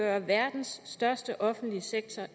er verdens største offentlige sektor